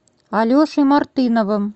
алешей мартыновым